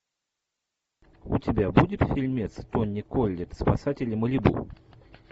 у тебя будет фильмец тони коллетт спасатели малибу